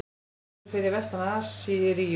Hún fellur fyrir vestan Assýríu.